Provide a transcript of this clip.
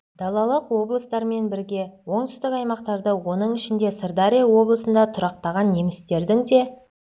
далалық облыстармен бірге оңтүстік аймақтарда оның ішінде сырдария облысында тұрақтаған немістердің де әлеуметтік-экономикалық ахуалы өзге аймақтарда